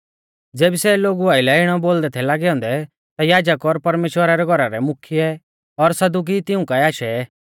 ज़ेबी सै लोगु आइलै इणौ बोलदै थै लागै औन्दै ता याजक और परमेश्‍वरा रै घौरा रै मुख्यै और सदुकी तिऊं काऐ आशै